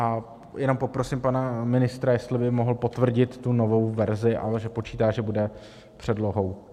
A jenom poprosím pana ministra, jestli by mohl potvrdit tu novou verzi, ale že počítá, že bude předlohou.